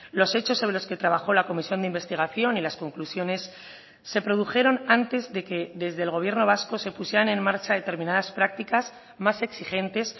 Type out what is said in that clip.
los hechos sobre los que trabajó la comisión de investigación y las conclusiones se produjeron antes de que desde el gobierno vasco se pusieran en marcha determinadas prácticas más exigentes